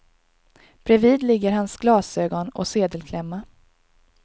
Bredvid ligger hans glasögon och sedelklämma.